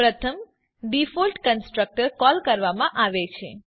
પ્રથમ default constructor call કરવામાં આવે છે